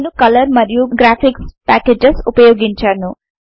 నేను కలర్ మరియు graphics packages ఉపయోగించాను